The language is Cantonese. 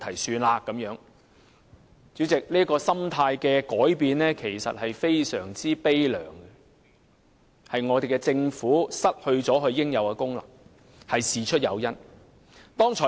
主席，這種心態的改變其實非常悲涼，亦顯示政府失去了應有的功能。